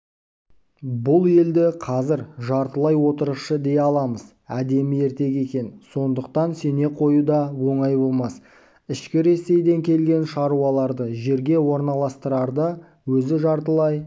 бұл елді қазір жартылай отырықшы дей аламыз әдемі ертегі екен сондықтан сене қою да оңай болмас ішкі ресейден келген шаруаларды жерге орналастырарда өзі жартылай